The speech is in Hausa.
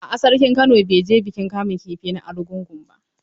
A a sarkin Kano bai je bikin kamun kifi na Argungu ba.